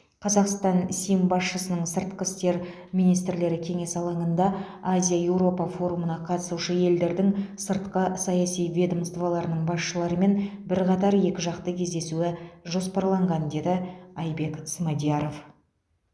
қазақстан сім басшысының сыртқы істер министрлері кеңесі алаңында азия еуропа форумына қатысушы елдердің сыртқы саяси ведомстволарының басшыларымен бірқатар екіжақты кездесуі жоспарланған деді айбек смадияров